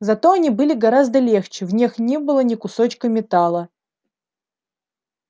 зато они были гораздо легче в них не было ни кусочка металла